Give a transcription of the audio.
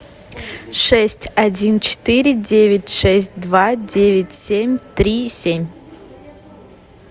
шесть один четыре девять шесть два девять семь три семь